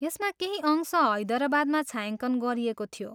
यसका केही अंश हैदरबादमा छायाङ्कन गरिएको थियो।